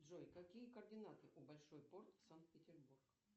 джой какие координаты у большой порт санкт петербург